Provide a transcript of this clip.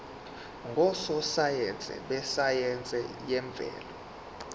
ngososayense besayense yemvelo